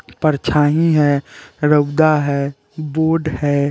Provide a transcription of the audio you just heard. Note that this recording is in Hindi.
परछाई है रोबदा है बोर्ड है।